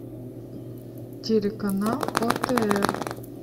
телеканал отр